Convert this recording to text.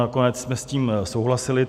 Nakonec jsme s tím souhlasili.